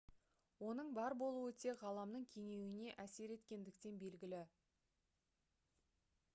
оның бар болуы тек ғаламның кеңеюіне әсер еткендіктен белгілі